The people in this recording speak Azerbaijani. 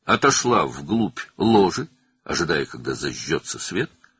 işıq yanmasını gözləyərək lojanın dərinliyinə çəkildi.